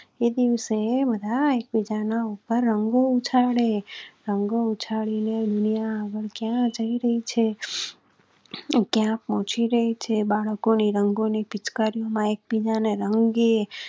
એ દિવસે બધા એક બીજા ના ઉપર રંગો ઉછાળે, રંગો ઉછાળીને દુનિયા ક્યાં જઈ રહી છે? ક્યાં પહોચી રહી છે બાળકો ને રંગો ને ખેત કાર્યો માં એકબીજા ને રંગી